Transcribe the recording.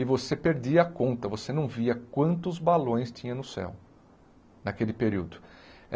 E você perdia a conta, você não via quantos balões tinha no céu, naquele período.